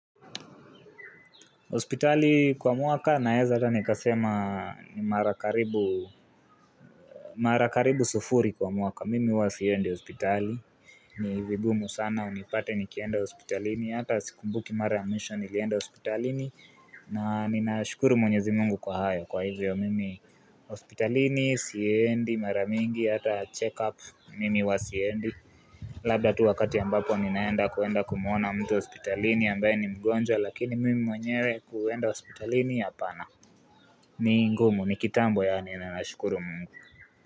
Hospitali kwa mwaka naeza hata nikasema ni marakaribu sufuri kwa mwaka. Mimi huwa Siendi hospitali. Ni vigumu sana unipate nikienda hospitalini. Hata sikumbuki Mara ya Mwisho nilienda hospitalini. Na ninashukuru mwenyezi mungu kwa hayo kwa hivyo. Mimi hospitalini, Siendi, Maramingi, hata check up. Mimi wa Siendi. Labda tu wakati ambapo ninaenda kuenda kumwona mtu hospitalini. Ambae ni mgonjwa lakini mimi mwenyewe kuenda hospitalini hapana ni ngumu ni kitambo yaani na nashukuru mungu.